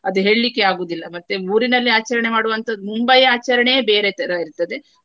ಅದು ಹೇಳ್ಲಿಕ್ಕೆ ಆಗುವುದಿಲ್ಲ ಮತ್ತೆ ಊರಿನಲ್ಲಿ ಆಚರಣೆ ಮಾಡುವಂತಹದ್ದು ಮುಂಬೈಯ ಆಚರಣೆಯೇ ಬೇರೆ ತರಹ ಇರ್ತದೆ.